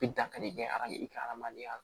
I bi dankari kɛ arajo i ka hadamadenya la